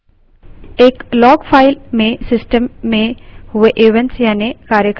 एक log file में system में हुए events यानि कार्यक्रम मौजूद होते हैं